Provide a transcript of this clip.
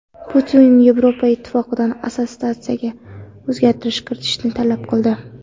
Putin Yevroittifoqdan assotsiatsiyaga o‘zgartirish kiritishni talab qildi.